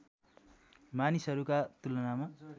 मानिसहरूका तुलनामा